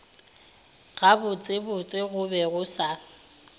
gabotsebotse go be go sa